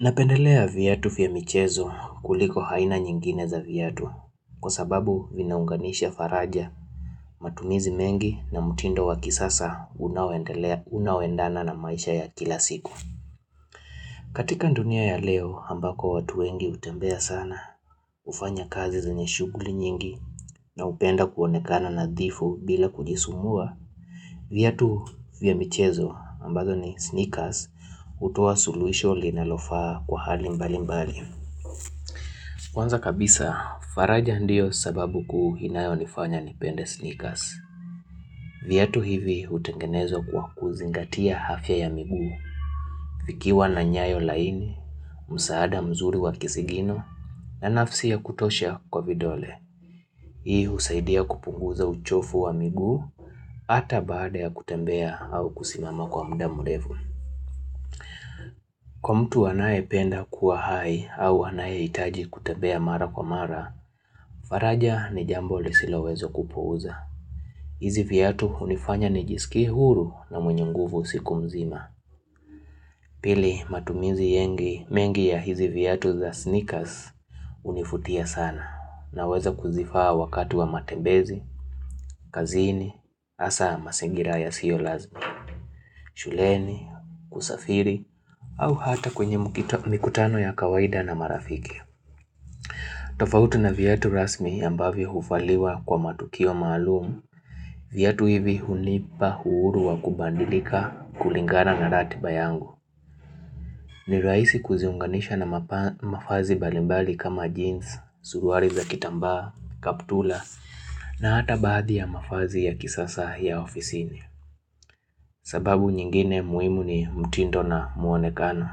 Napendelea vyatu vya michezo kuliko haina nyingine za vyatu kwa sababu vinaunganisha faraja matumizi mengi na mutindo wa kisasa unaoendana na maisha ya kila siku. Katika dunia ya leo ambako watu wengi hutembea sana hufanya kazi zenye shuguli nyingi na hupenda kuonekana nadhifu bila kujisumbua. Vyatu vya michezo ambazo ni sneakers hutoa suluhisho linalofaa kwa hali mbali mbali. Kwanza kabisa, faraja ndiyo sababu kuu hinayonifanya nipende sneakers. Vyatu hivi utengenezwa kwa kuzingatia hafya ya migu. Vikiwa na nyayo laini, msaada mzuri wa kisigino, na nafsi ya kutosha kwa vidole. Hii husaidia kupunguza uchofu wa miguu, ata baada ya kutembea au kusimama kwa mda murefu. Kwa mtu anayependa kuwa hai au anayehitaji kutembea mara kwa mara, faraja ni jambo lisiloweza kupuuza. Hizi vyatu hunifanya nijiskie huru na mwenye nguvu siku mzima. Pili matumizi mengi ya hizi vyatu za sneakers hunifutia sana na weza kuzifaa wakati wa matembezi, kazini, hasa masingira yasio lazima, shuleni, kusafiri au hata kwenye mikutano ya kawaida na marafiki. Tofauti na vyatu rasmi ambavyo hufaliwa kwa matukio maalumu. Vyatu hivi hunipa huuru wa kubandilika kulingana na ratiba yangu. Ni raisi kuziunganisha na mafazi mbalimbali kama jeans, suruari za kitamba, kaptula na hata baadhi ya mafazi ya kisasa ya ofisini. Sababu nyingine muimu ni mtindo na mwonekano.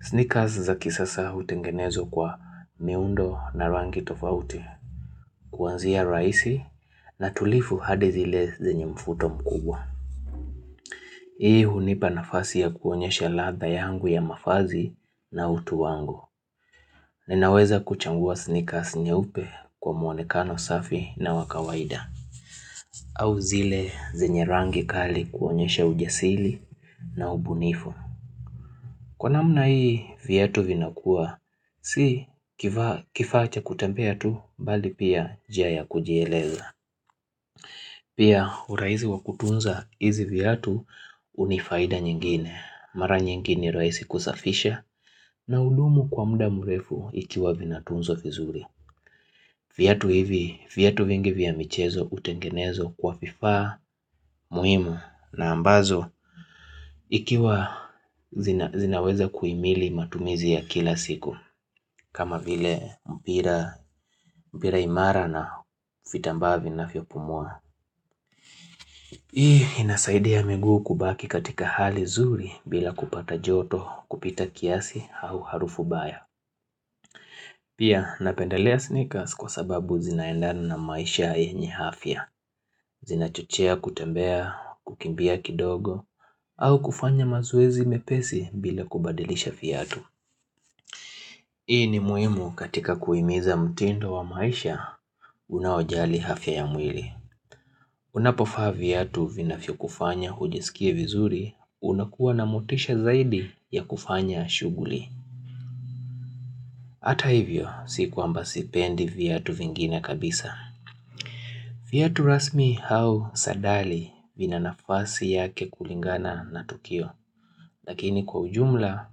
Sneakers za kisasa hutengenezwa kwa miundo na rangi tofauti. Kuanzia raisi na tulifu hadi zile zenye mfuto mkubwa. Hii hunipa nafasi ya kuonyesha latha yangu ya mafazi na utu wangu. Ninaweza kuchangua sneakers nyeupe kwa muonekano safi na wa kawaida. Au zile zenye rangi kali kuonyesha ujasili na ubunifu. Kwa namna hii vyatu vinakua, si kifaa cha kutembea tu bali pia njia ya kujieleza. Pia uraizi wa kutunza hizi vyatu huu ni faida nyingine, mara nyingi ni rahisi kusafisha na hudumu kwa muda murefu ikiwa vinatunzwa vizuri. Viatu vingi vya michezo utengenezwa kwa vifaa, muimu na ambazo Ikiwa zinaweza kuimili matumizi ya kila siku kama vile mpira imara na fitamba vinavyopumua Hii inasaidia miguu kubaki katika hali zuri bila kupata joto kupita kiasi au harufu baya Pia napendelea sneakers kwa sababu zinaendana na maisha yenye hafia Zinachochea kutembea, kukimbia kidogo, au kufanya mazoezi mepesi bila kubadilisha vyatu. Hii ni muhimu katika kuhimiza mtindo wa maisha, unaojali hafya ya mwili. Unapofaa fiatu vinafyokufanya hujisikie vizuri, unakuwa na motisha zaidi ya kufanya shuguli. Hata hivyo, si kwamba sipendi fiatu vingine kabisa. Vyatu rasmi hau sadali vina nafasi yake kulingana na tukio. Lakini kwa ujumla,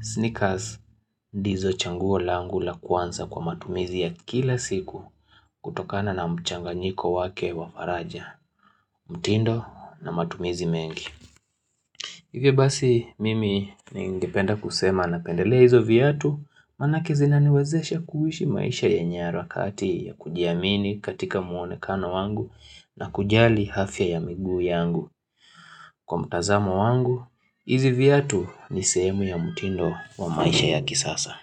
sneakers ndizo changuo langu la kwanza kwa matumizi ya kila siku kutokana na mchanganyiko wake wa faraja, mtindo na matumizi mengi. Hivyo basi mimi ningependa kusema napendelea hizo vyatu, manake zinaniwezesha kuhishi maisha yenye harakati ya kujiamini katika muonekano wangu na kujali hafia ya miguu yangu. Kwa mtazamo wangu, hizi vyatu ni sehemu ya mutindo wa maisha ya kisasa.